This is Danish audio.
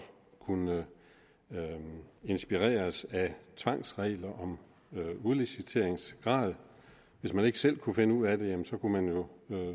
kunne inspireres af tvangsregler om udliciteringsgrad hvis man ikke selv kunne finde ud af det kunne man jo